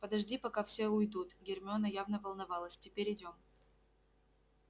подожди пока все уйдут гермиона явно волновалась теперь идём